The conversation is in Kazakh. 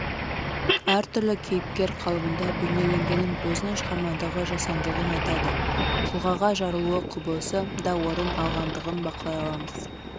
әртүрлі кейіпкер қалыбында бейнеленгенін өзінің шығармадағы жасандылығын айтады тұлғаға жарылуы құбылысы да орын алғандығын бақылай аламыз